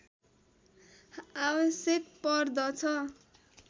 आवश्यक पर्दछ